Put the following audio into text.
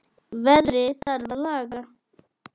Veðrið þarf að laga.